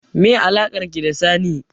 Meye alakarki da Sani?